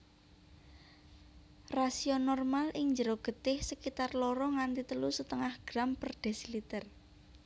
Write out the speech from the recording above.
Rasio normal ing jero getih sekitar loro nganti telu setengah gram per desiliter